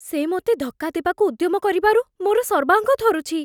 ସେ ମୋତେ ଧକ୍କା ଦେବାକୁ ଉଦ୍ୟମ କରିବାରୁ ମୋର ସର୍ବାଙ୍ଗ ଥରୁଛି।